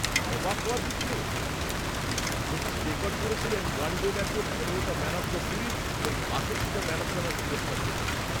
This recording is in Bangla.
অবাক হওয়ার কিছু নেই যে তিনি রেকর্ড করেছিলেন; ওয়ানডে ম্যাচে পনেরোটা ম্যান অফ দ্য সিরিজ এবং বাষট্টিটা ম্যান অফ দ্য ম্যাচ পুরস্কার জেতেন।